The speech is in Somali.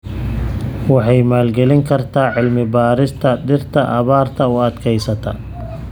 Waxay maalgelin kartaa cilmi-baarista dhirta abaarta u adkeysata.